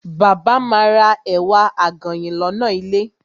Bàbá ma ra ẹ̀wà àgànyìn lọ́nà ilé.